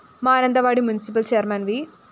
Mananthavady municipal chairman V